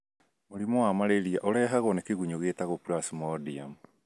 Mũrimũ wa malaria ũrehagwo nĩ kĩgunyũ kĩtagwo Plasmodium.